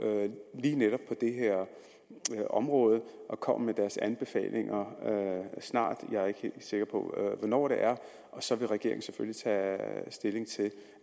lige netop på det her område og kommer med deres anbefalinger snart jeg er ikke helt sikker på hvornår det er og så vil regeringen selvfølgelig tage stilling til